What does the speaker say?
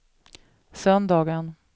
söndagen